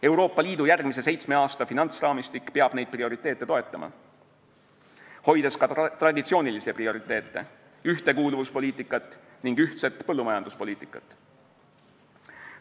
Euroopa Liidu järgmise seitsme aasta finantsraamistik peab neid prioriteete toetama, hoides ka traditsioonilisi prioriteete: ühtekuuluvuspoliitikat ning ühtset põllumajanduspoliitikat.